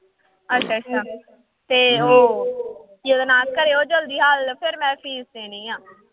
ਅੱਛਾ ਅੱਛਾ ਤੇ ਉਹ ਕੀ ਉਹਦਾ ਨਾਂ ਕਰਿਓ ਜ਼ਲਦੀ ਹੱਲ ਫਿਰ ਮੈਂ ਫ਼ੀਸ਼ ਦੇਣੀ ਆਂ।